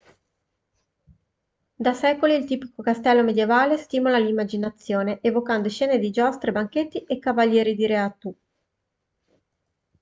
da secoli il tipico castello medievale stimola l'immaginazione evocando scene di giostre banchetti e cavalieri di re artù